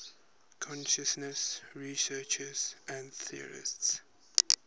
consciousness researchers and theorists